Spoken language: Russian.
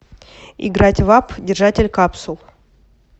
играть в апп держатель капсул